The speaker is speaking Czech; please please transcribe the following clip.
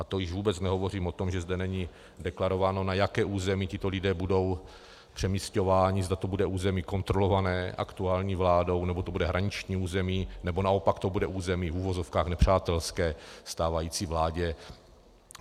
A to již vůbec nehovořím o tom, že zde není deklarováno, na jaké území tito lidé budou přemisťováni, zda to bude území kontrolované aktuální vládou, nebo to bude hraniční území, nebo naopak to bude území v uvozovkách nepřátelské stávající vládě.